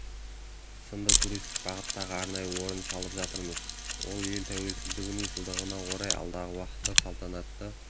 сынды туристік бағыттағы арнайы орын салып жатырмыз ол ел тәуелсіздігінің жылдығына орай алдағы уақытта салтанатты